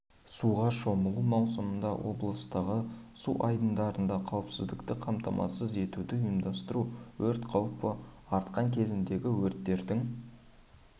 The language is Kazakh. суға шомылу маусымында облыстағы су айдындарында қауіпсіздікті қамтамасыз етуді ұйымдастыру өрт қаупі артқан кезеңдегі өрттердің